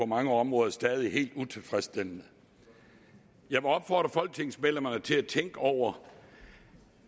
mange områder stadig helt utilfredsstillende jeg må opfordre folketingsmedlemmerne til at tænke over